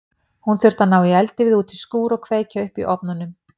Hún þurfti að ná í eldivið út í skúr og kveikja upp í ofnunum.